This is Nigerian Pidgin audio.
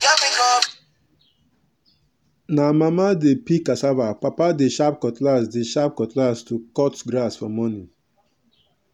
na mama dey peel cassava papa dey sharp cutlass dey sharp cutlass to cut grass for morning.